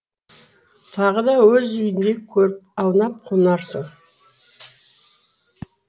тағы да өз үйіңдей көріп аунап қунарсың